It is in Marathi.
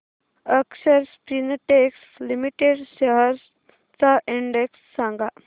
अक्षर स्पिनटेक्स लिमिटेड शेअर्स चा इंडेक्स सांगा